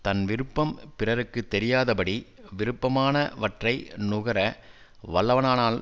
தன் விருப்பம் பிறர்க்கு தெரியாத படி விருப்பமான வற்றை நுகர வல்லவனானால்